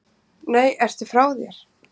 Nei, ertu frá þér!